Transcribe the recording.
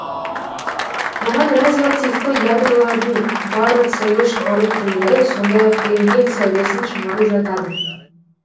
бұған радиоактивті ядролардың барлык сәуле шығару түрлері сондай ак рентген сәулесін шығару жатады